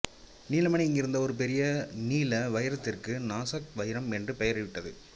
நீல மணி இங்கிருந்த ஒரு பெரிய நீல வைரத்திற்கு நாசக் வைரம் என்று பெயரிடப்பட்டது